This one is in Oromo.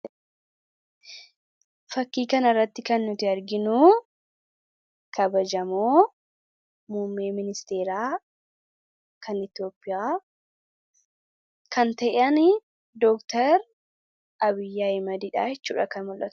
Fakkii kanarratti kan nuti arginu kabajamoo muummee ministeeraa kan Itoophiyaa kan ta'an doktar Abiy Ahmadidha jechuudha.